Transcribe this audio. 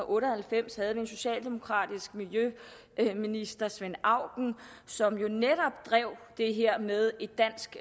otte og halvfems af den socialdemokratiske miljøminister svend auken som jo netop drev det her frem med en dansk